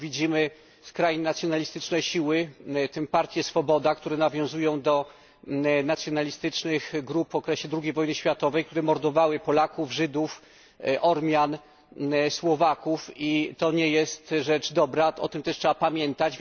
Widzimy skrajnie nacjonalistyczne siły, w tym partię Swoboda, które nawiązują do nacjonalistycznych grup w okresie II wojny światowej, które mordowały Polaków, Żydów, Ormian, Słowaków, i to nie jest rzecz dobra, o tym też trzeba pamiętać.